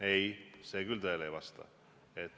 Ei, see küll tõele ei vasta.